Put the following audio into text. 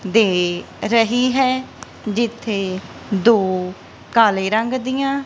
ਦੇ ਰਹੀ ਹੈ ਜਿੱਥੇ ਦੋ ਕਾਲੇ ਰੰਗ ਦੀਆਂ --